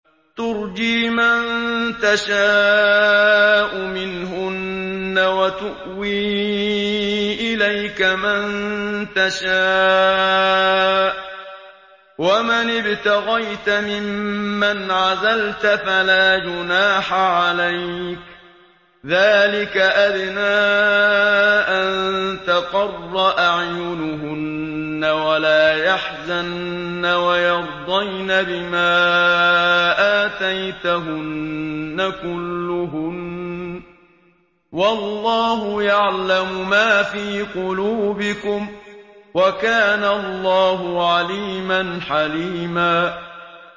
۞ تُرْجِي مَن تَشَاءُ مِنْهُنَّ وَتُؤْوِي إِلَيْكَ مَن تَشَاءُ ۖ وَمَنِ ابْتَغَيْتَ مِمَّنْ عَزَلْتَ فَلَا جُنَاحَ عَلَيْكَ ۚ ذَٰلِكَ أَدْنَىٰ أَن تَقَرَّ أَعْيُنُهُنَّ وَلَا يَحْزَنَّ وَيَرْضَيْنَ بِمَا آتَيْتَهُنَّ كُلُّهُنَّ ۚ وَاللَّهُ يَعْلَمُ مَا فِي قُلُوبِكُمْ ۚ وَكَانَ اللَّهُ عَلِيمًا حَلِيمًا